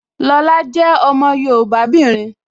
Lọla jẹ́ ọmọ yoòbá obìnrin